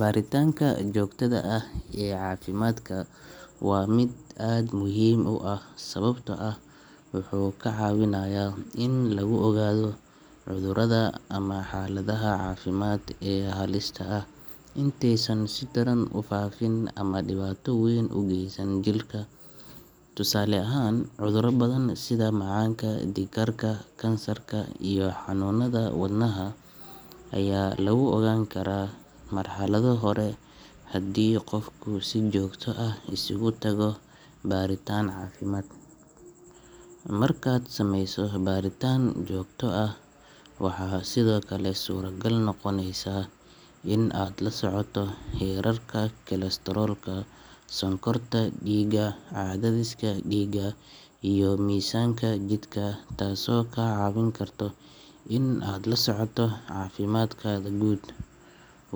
Baritaanka joogtada ah ee caafimaadka waa mid aad muhiim u ah sababtoo ah wuxuu kaa caawinayaa in lagu ogaado cudurrada ama xaaladaha caafimaad ee halista ah intaysan si daran u faafin ama dhibaato weyn u geysan jirka. Tusaale ahaan, cudurro badan sida macaanka, dhiigkarka, kansarka iyo xanuunnada wadnaha ayaa lagu ogaan karaa marxalado hore haddii qofku si joogto ah isugu tago baaritaan caafimaad. Markaad sameyso baritaan joogto ah, waxaa sidoo kale suuragal noqonaysa in aad la socoto heerarka kolestaroolka, sonkorta dhiigga, cadaadiska dhiigga iyo miisaanka jidhkaaga taasoo kaa caawin karta in aad la socoto caafimaadkaaga guud.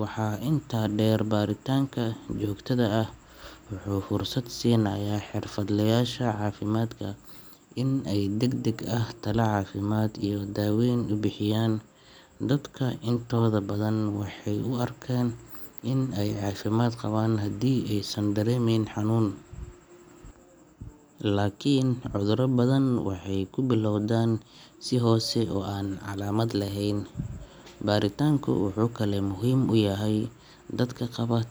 Waxaa intaa dheer, baritaanka joogtada ah wuxuu fursad u siinayaa xirfadlayaasha caafimaadka in ay si degdeg ah talo caafimaad iyo daaweyn u bixiyaan. Dadka intooda badan waxay u arkaan in ay caafimaad qabaan haddii aysan dareemeyn xanuun, laakin cuduro badan waxay ku bilowdaan si hoose oo aan calaamad lahayn. Baritaanku wuxuu kaloo muhiim u yahay dadka qaba.